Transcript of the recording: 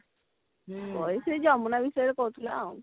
ସେଇ ଯମୁନା ବିଷୟରେ କହୁଥିଲା ଆଉ